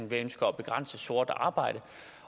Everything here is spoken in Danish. vi ønsker at begrænse sort arbejde